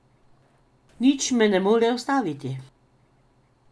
Nič me ne more ustaviti.